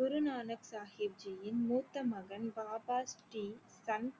குரு நானக் சாஹிப் ஜியின் மூத்த மகன் பாபா ஜி தன்